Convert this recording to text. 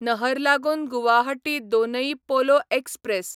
नहरलागून Guwahati Donyi Polo express